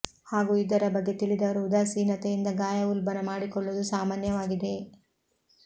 ಹಾಗೂ ಇದರ ಬಗ್ಗೆ ತಿಳಿದವರು ಉದಾಸೀನತೆಯಿಂದ ಗಾಯ ಉಲ್ಬಣ ಮಾಡಿಕೊಳ್ಳುವುದು ಸಾಮಾನ್ಯವಾಗಿದೆ